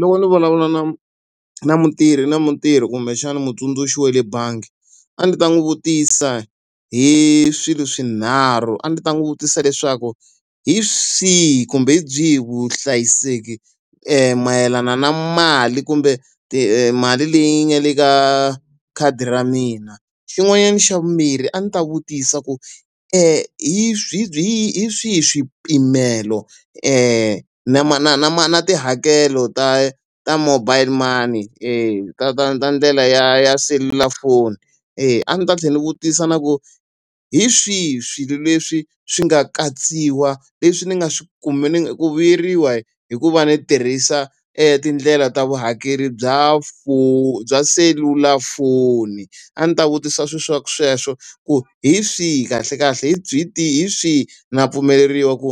Loko ni vulavula na na mutirhi na mutirhi kumbexana mutsundzuxi wa le bangi, a ndzi ta n'wi vutisa hi swilo swinharhu. A ndzi ta n'wi vutisa leswaku hi swihi kumbe hi byihi vuhlayiseki mayelana na mali kumbe timali leyi nga le ka khadi ra mina? Xin'wanyana xa vumbirhi a ndzi ta vutisa ku hi hi swihi ni swihi swipimelo na na na na tihakelo ta ta mobile money e ta ta ta ndlela ya ya selulafoni? E a ndzi ta tlhela ndzi vutisa na ku hi swihi swilo leswi swi nga katsiwa leswi ni nga swi ni ku vuyeriwa hi ku va ni tirhisa e tindlela ta vuhakeri bya bya selulafoni? A ndzi ta vutisa sweswo ku hi swihi kahlekahle hi byi hi tihi swihi? Na pfumeleriwa ku